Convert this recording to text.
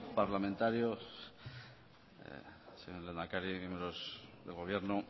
parlamentarios señor lehendakari miembros del gobierno